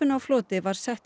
á floti var sett